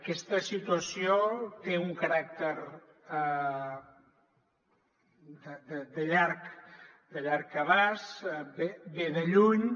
aquesta situació té un caràcter de llarg abast ve de lluny